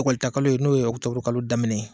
ƆKɔlita kalo ye n'o ye Ɔkutɔburu kalo daminɛ ye.